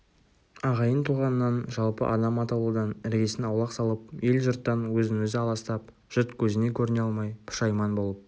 ағайын-туғаннан жалпы адам атаулыдан іргесін аулақ салып ел-жұрттан өзін-өзі аластап жұрт көзіне көріне алмай пұшайман болып